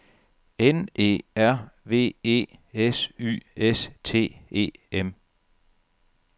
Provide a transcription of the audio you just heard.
N E R V E S Y S T E M